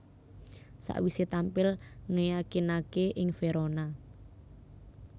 Sakwisé tampil ngeyakinaké ing Verona